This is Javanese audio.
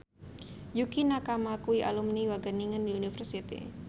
Yukie Nakama kuwi alumni Wageningen University